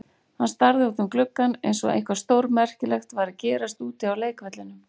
Hann starði út um gluggann eins og eitthvað stórmerkilegt væri að gerast úti á leikvellinum.